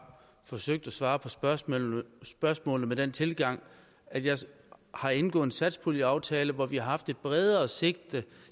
forsøgt at svare på spørgsmålene spørgsmålene med den tilgang at jeg har indgået en satspuljeaftale hvor vi har haft et bredere sigte